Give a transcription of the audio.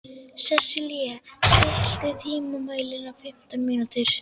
Sesilía, stilltu tímamælinn á fimmtán mínútur.